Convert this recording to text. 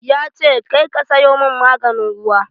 Yace "Kar ka sayo mun maganin ruwa"!